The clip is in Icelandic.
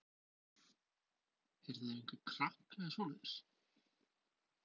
Hittuð þið einhverja krakka eða svoleiðis?